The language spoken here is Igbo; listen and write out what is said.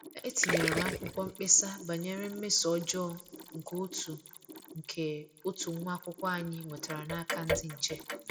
Etinyere m akwụkwọ mkpesa banyere mmeso ọjọọ nke otu nke otu nwa akwụkwọ anyị nwetara n'aka ndị nche